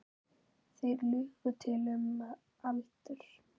Þeir lugu til um aldur.